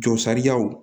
Jɔ sariyaw